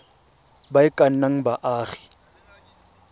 ba e ka nnang baagi